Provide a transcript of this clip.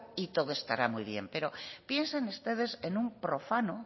y todo estará muy bien pero piensen ustedes en un profano